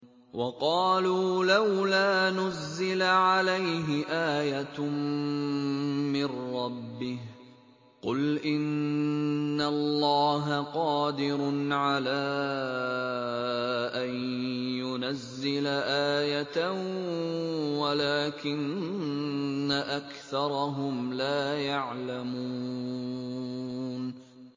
وَقَالُوا لَوْلَا نُزِّلَ عَلَيْهِ آيَةٌ مِّن رَّبِّهِ ۚ قُلْ إِنَّ اللَّهَ قَادِرٌ عَلَىٰ أَن يُنَزِّلَ آيَةً وَلَٰكِنَّ أَكْثَرَهُمْ لَا يَعْلَمُونَ